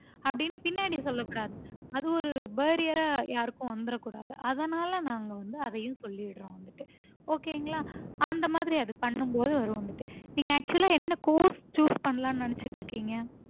அப்புடின்னு பின்னாடி சொல்லக்கூடாது அது ஒரு barrier ஆ யாருக்கும் வன்தரக்கூடாது அதனால நாங்க வந்து அதையும் சொல்லிடறோம் வந்துட்டு okay ங்களா அந்தமாதிரி அது பண்ணும்போது வரும் வந்துட்டு நீங்க actual ஆ என்ன course choose பண்ணலாம்னு நெனச்சிட்டு இருக்கீங்க